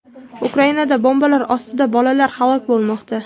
Ukrainada bombalar ostida bolalar halok bo‘lmoqda.